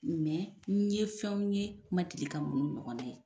Mɛ n ye fɛnw ye n ma deli ka mun ɲɔgɔnna ye